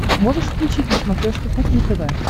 можешь включить на смотрешке кухня тв